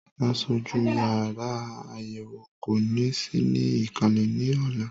Aṣojú yàrá àyẹ̀wò kò ní sí ní ìkàlẹ̀ ní ọ̀la.